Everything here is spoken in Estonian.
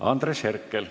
Andres Herkel.